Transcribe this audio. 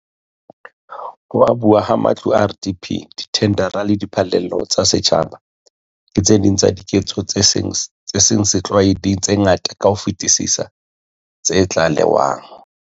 Ho abuwa ha matlo a RDP, dithendara le diphallelo tsa setjhaba ke tse ding tsa diketso tse seng setlwaeding tse ngata ka ho fetisisa tse tlalewang.